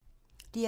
DR2